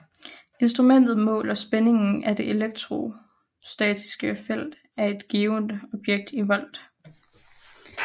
Instrumentet måler spændingen af det elektrostatiske felt af et givent objekt i volt